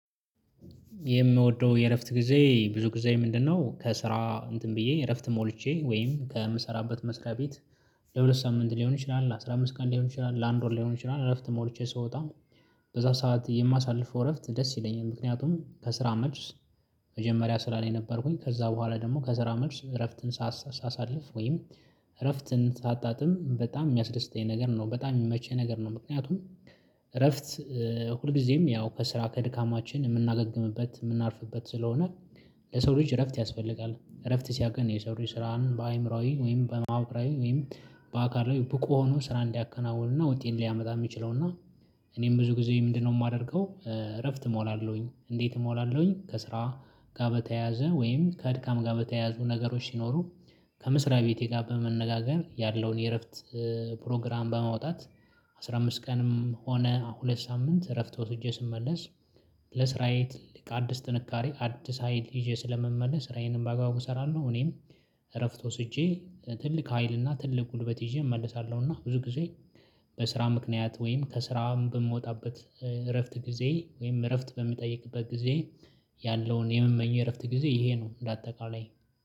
የምወደው የእረፍት ጊዜ ብዙ ጊዜ ምንድነው? ከስራ እንትን ብዬ እረፍት ሞልቼ ወይም ከምሰራበት መስሪያ ቤት ለሁለት ሳምንት ሊሆን ይችላል አስራ አምስት ቀን ሊሆን ይችላል ለአንድ ወር ሊሆን ይችላል እረፍት ሞልቼ ስወጣ በዛ ሰዓት የማሳልፈው እረፍት ደስ ይለኛል ምክንያቱም ከስራ መልስ መጀመሪያ ስራ ላይ ነበርኩኝ ከዛ በኋላ ደግሞ ከስራ መልስ እረፍትን ሳሳሳልፍ ወይም እረፍትን ሳጣጥም በጣም የሚያስደስተኝ ነገር ነው በጣም የሚመችህ ነገር ነው። ምክንያቱም እረፍት ሁልጊዜም ያው ከስራ ከድካማችን የምናገግምበት የምናርፍበት ስለሆነ። ለሰው ልጅ እረፍት ያስፈልጋል እረፍት ሲያውቅ የሰው ልጅ ስራን በአእምሮአዊ ወይም በማወቅ አእምሮአዊ ወይም በአካል ላይ ብቁ ሆኖ ስራ እንዲያከናውኑና ውጤት ሊያመጣ የሚችለውና። እኔም ብዙ ጊዜ ምንድነው የማደርገው? እረፍት እሞላለሁኝ እንዴት እሞላለሁኝ? ከስራ ጋር በተያዘ ወይም ከድካም ጋር በተያያዙ ነገሮች ሲኖሩ። ከመስሪያ ቤቴ ጋር በመነጋገር ያለውን የእረፍት ፕሮግራም በማውጣት አስራ አምስት ቀንም ሆነ ሁለት ሳምንት እረፍት ወስጄ ስመለስ። ለስራዬ ትልቅ አዲስ ጥንካሬ አዲስ ሀይል ይዤ ስለምመለስ ስራዬንም በአግባቡ እሰራለሁ። እኔም እረፍት ወስጄ ትልቅ ሀይል እና ትልቅ ጉልበት ይዤ እመልሳለሁ። እና ብዙ ጊዜ በስራ ምክንያት ወይም ከስራ በምወጣበት እረፍት ጊዜ ወይም እረፍት በሚጠይቅበት ጊዜ ያለውን የምመኘው እረፍት ጊዜ ይሄ ነው እንደ አጠቃላይ